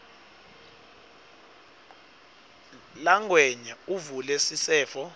langwenya avule sisefo